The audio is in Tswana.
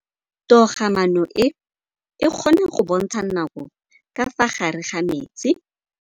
Toga-maanô e, e kgona go bontsha nakô ka fa gare ga metsi.